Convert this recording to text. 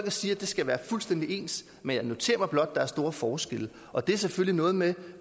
og siger at det skal være fuldstændig ens men jeg noterer mig blot at der er store forskelle og det er selvfølgelig noget med